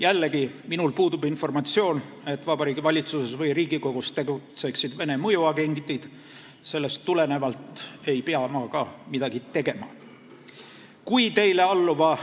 Jällegi, minul puudub informatsioon, et Vabariigi Valitsuses või Riigikogus tegutseksid Vene mõjuagendid – sellest tulenevalt ei pea ma ka midagi tegema.